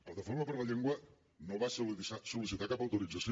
plataforma per la llengua no va sol·licitar cap autorització